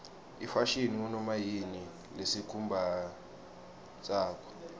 ifashini ngunoma yini lesikumbatsako